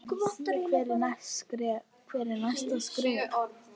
Hvert er næsta skrefið?